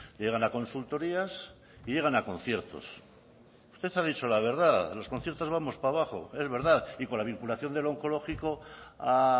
llegan a consultorías y llegan a conciertos usted ha dicho la verdad los conciertos vamos para abajo es verdad y con la vinculación del oncológico a